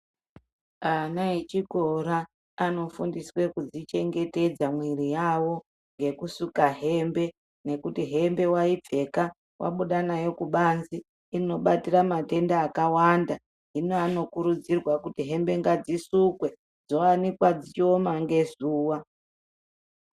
Ana echikora anofundiswe kudzichengetedza mwiri yawo ngekusuka hembe, nekuti hembe waipfeka wabuda nayo kubanze inobatira matenda akawanda. Hino anokurudzirwa kuti hembe ngadzisukwe dzoanikwa dzichioma ngezuwa.